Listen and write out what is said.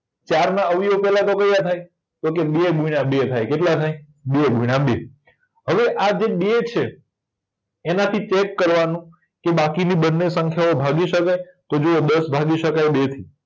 ચારના અવયવ પેલાતો કયા થાય તોકે બે ગુણીયા બે થાય કેટલા થાય બે ગુણીયા બે હવે આ જે બે છે એનાથી ચેક કરવાનું કે બાકીની બંને સંખ્યાઓ ભાગી શકાય તો જો આયા દસ ભાગી શકાય બે થી